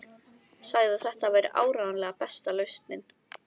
Sagði að þetta væri áreiðanlega besta lausnin.